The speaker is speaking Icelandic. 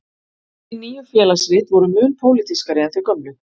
Hin nýju Félagsrit voru mun pólitískari en þau gömlu.